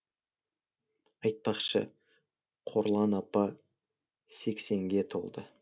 айтпақшы қорлан апа сексенге толды